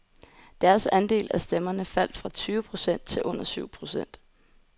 Deres andel af stemmerne faldt fra tyve procent til under syv procent.